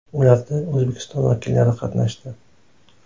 Ularda O‘zbekiston vakillari qatnashdi.